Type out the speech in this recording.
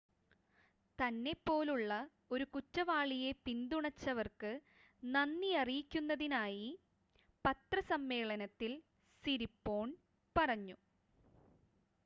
തന്നെ പോലുള്ള ഒരു കുറ്റവാളിയെ പിന്തുണച്ചവർക്ക് നന്ദി അറിയിക്കുന്നതായി പത്രസമ്മേളനത്തിൽ സിരിപോൺ പറഞ്ഞു